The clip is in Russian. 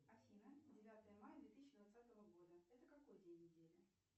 афина девятое мая две тысячи двадцатого года это какой день недели